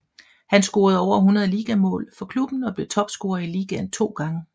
Han scorede over 100 ligamål for klubben og blev topscorer i ligaen to gange